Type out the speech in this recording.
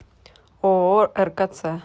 ооо ркц